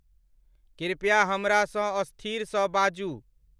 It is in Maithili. कृपया हमरा स असथीर स बाजू